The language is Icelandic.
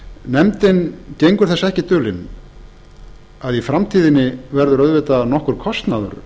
nefndin gengur þess ekki dulin að í framtíðinni verður auðvitað nokkur kostnaður